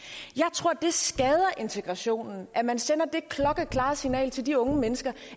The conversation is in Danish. tror det skader integrationen at man sender det klokkeklare signal til de unge mennesker